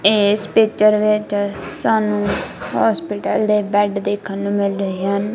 ਇਸ ਪਿਕਚਰ ਵਿੱਚ ਸਾਨੂੰ ਹੋਸਪਿਟਲ ਦੇ ਬੈਡ ਦੇਖਣ ਨੂੰ ਮਿਲ ਰਹੇ ਹਨ।